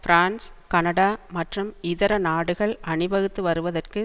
France Canada மற்றும் இதர நாடுகள் அணிவகுத்து வருவதற்கு